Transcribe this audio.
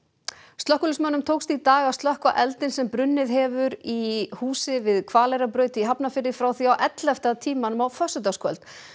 slökkviliðsmönnum tókst í dag að slökkva eldinn sem brunnið hefur í húsi við Hvaleyrarbraut í Hafnarfirði frá því á ellefta tímanum á föstudagskvöld